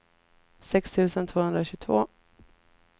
sex tusen tvåhundratjugotvå